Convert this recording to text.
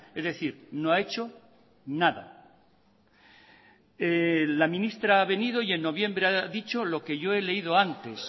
es decir no ha hecho nada la ministra ha venido y en noviembre ha dicho lo que yo he leído antes